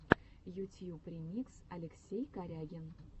ютьюб ремикс алексей корягин